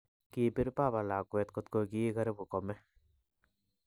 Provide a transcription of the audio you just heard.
Kibiir baba lakwet koto gi karibu kome